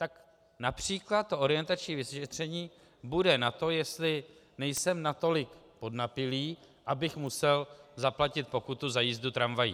Tak například to orientační vyšetření bude na to, jestli nejsem natolik podnapilý, abych musel zaplatit pokutu za jízdu tramvají.